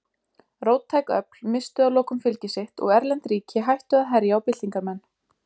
Róttæk öfl misstu að lokum fylgi sitt og erlend ríki hættu að herja á byltingarmenn.